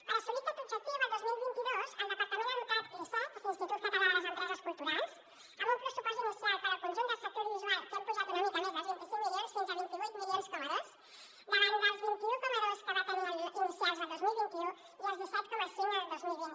per assolir aquest objectiu el dos mil vint dos el departament ha dotat l’icec l’ins·titut català de les empreses culturals amb un pressupost inicial per al conjunt del sector audiovisual que hem apujat una mica més dels vint cinc milions fins a vint vuit coma dos milions davant dels vint un coma dos que va tenir inicials el dos mil vint u i els disset coma cinc del dos mil vint